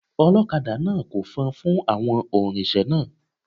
Ọlọ́kadà náà ko fọn fún àwọn oǹrinsẹ̀ náà.